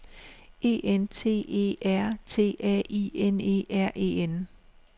E N T E R T A I N E R E N